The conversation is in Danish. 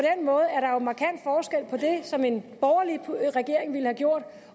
som en borgerlig regering ville have gjort